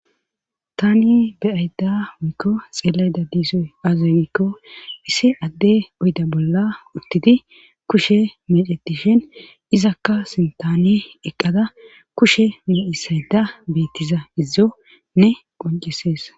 Tani beyayda wiikko xeelayda diisoy aazay wiikko issi adde oyda bolla uttidi kushe medetishin izakka sintaaniye eqqada kushe mu7isayda beettiza izone qoncesees.